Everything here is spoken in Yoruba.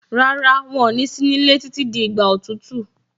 Rárá, wọn ní sí nílé títí di ìgbà òtútù.